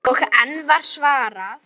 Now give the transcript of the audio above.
Og enn var svarað: